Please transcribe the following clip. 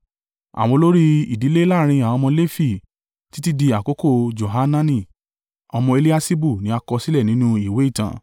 Àwọn olórí ìdílé láàrín àwọn ọmọ Lefi títí di àkókò Johanani ọmọ Eliaṣibu ni a kọ sílẹ̀ nínú ìwé ìtàn.